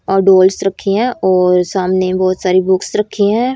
और डॉल्स रखी है और सामने बहोत सारी बुक्स रखी है।